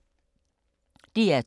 DR2